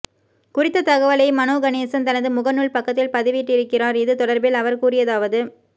குறித்த தகவலை மனோ கணேசன் தனது முகநூல் பக்கத்தில் பதிவிட்டிருக்கிறார் இது தொடர்பில் அவர் கூறியதாவது